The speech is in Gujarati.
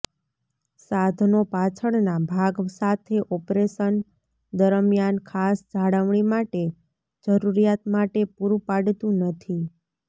સાધનો પાછળના ભાગ સાથે ઓપરેશન દરમિયાન ખાસ જાળવણી માટે જરૂરિયાત માટે પૂરું પાડતું નથી